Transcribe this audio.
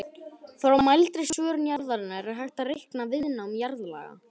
Frá mældri svörun jarðarinnar er hægt að reikna viðnám jarðlaga.